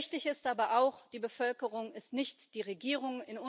Richtig ist aber auch Die Bevölkerung ist nicht die Regierung.